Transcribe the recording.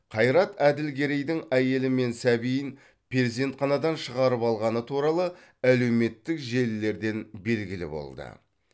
қайрат әділгерейдің әйелі мен сәбиін перзентханадан шығарып алғаны туралы әлеуметтік желілерден белгілі болды